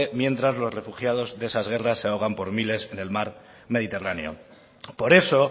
mientras los refugiados de esas guerras se ahogan por miles en el mar mediterráneo por eso